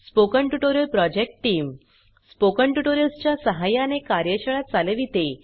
spoken tutorial project team spoken tutorials च्या सहाय्याने कार्यशाळा चालविते